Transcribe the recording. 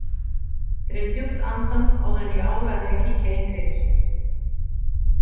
Dreg djúpt andann áður en ég áræði að kíkja inn fyrir.